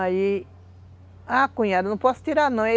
Aí... Ah, cunhada, não posso tirar, não.